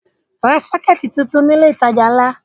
Ra sọ́kẹ́tì tuntun ní ilé-ìtajà ńlá!